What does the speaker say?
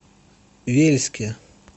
вельске